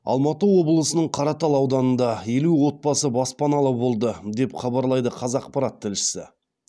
алматы облысының қаратал ауданында елу отбасы баспаналы болды деп хабарлайды қазақпарат тілшісі